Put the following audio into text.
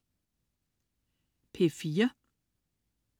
P4: